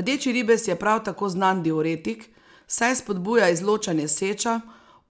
Rdeči ribez je prav tako znan diuretik, saj spodbuja izločanje seča,